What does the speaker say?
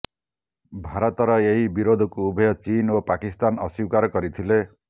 ଭାରତର ଏହି ବିରୋଧକୁ ଉଭୟ ଚୀନ ଓ ପାକିସ୍ତାନ ଅସ୍ବୀକାର କରିଥିଲେ